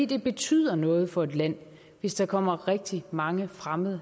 det betyder noget for landet hvis der kommer rigtig mange fremmede